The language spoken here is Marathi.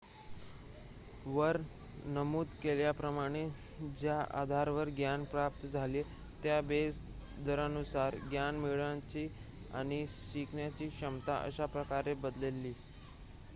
वर नमूद केल्याप्रमाणे ज्या आधारावर ज्ञान प्राप्त झाले त्या बेस दरानुसार ज्ञान मिळवण्याची आणि शिकण्याची क्षमता अशा प्रकारे बदलली